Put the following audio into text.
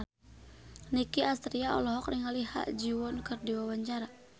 Nicky Astria olohok ningali Ha Ji Won keur diwawancara